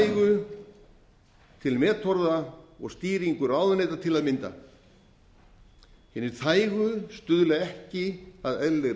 þægu til metorða og stýringu ráðuneyta til að mynda hinir þægu stuðla ekki að eðlilegri